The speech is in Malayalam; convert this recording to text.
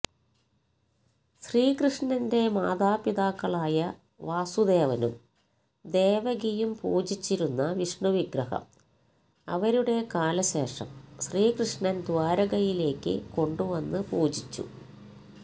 ശ്രീകൃഷ്ണന്റെ മാതാപിതാക്കളായ വാസുദേവനും ദേവകിയും പൂജിച്ചിരുന്ന വിഷ്ണുവിഗ്രഹം അവരുടെ കാലശേഷം ശ്രീകൃഷ്ണന് ദ്വാരകയിലേക്ക് കൊണ്ടുവന്ന് പൂജിച്ചു